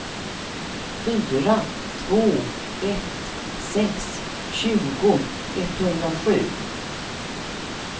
fyra två ett sex tjugo etthundrasju